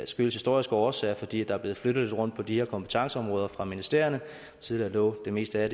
skyldes historiske årsager fordi der er blevet flyttet lidt rundt på de her kompetenceområder fra ministerierne tidligere lå det meste af